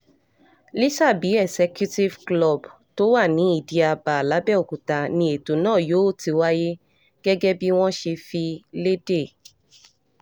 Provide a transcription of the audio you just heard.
lọ́ṣàbí executive club tó wà ní ìdí-ábà làbẹ́òkúta ni ètò náà yóò ti wáyé gẹ́gẹ́ bí wọ́n ṣe fi lédè